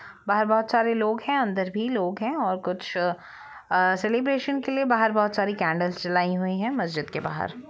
बाहर बहुत सारे लोग है अंदर भी लोग है और कुछ अ सेलिब्रेशन के लिए बाहर बहुत सारी कैंडल्स जलाई हुयी है मस्जिद के बाहर।